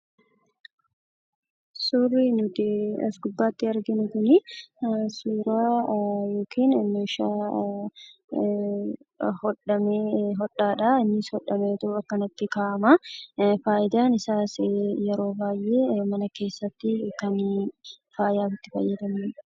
Suurri nuti as gubbaatti arginu kunii, suuraa yookaan immoo meeshaa hodhamee, hodhaadhaa innis akkanatti kaa'amaa. Fayidaan isaas yeroo baayyee mana keessatti kan faayaan itti fayyadamanidha.